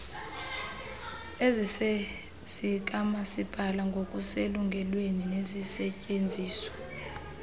ezizezikamasipala ngokuselungelweni nezisetyenziswa